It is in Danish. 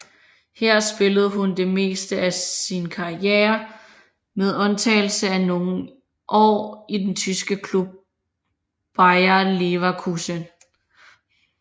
Her spillede hun det meste af sin karriere med undtagelse af nogle år i den tyske klub Bayer Leverkusen